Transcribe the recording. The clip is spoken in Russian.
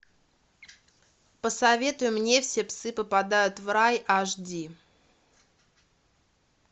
посоветуй мне все псы попадают в рай аш ди